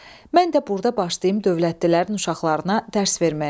Mən də burda başlayım dövlətlilərin uşaqlarına dərs verməyə.